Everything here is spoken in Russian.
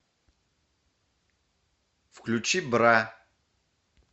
включи бра